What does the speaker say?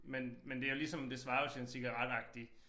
Men men det jo ligesom det svarer jo til en cigaretagtig